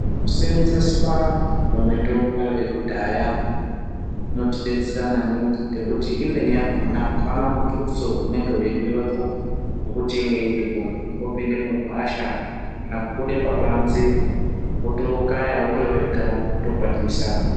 Kuseenzeswa kwemitombo yekudhaya kunotidetsera maningi ngekuti imweni yakona apana mutuso unenge weidiwepo ngokuti inge uripo kungopinde mugwasha kana kubude pabanze wotookaya uri wega wotokwatisa.